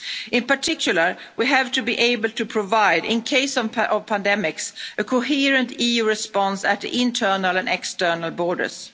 In particular, we have to be able to provide, in the case of pandemics, a coherent EU response at the internal and external